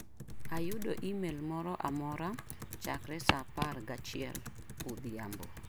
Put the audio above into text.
Ayudo imel moro amora chakre saa apar gachiel odhiambo.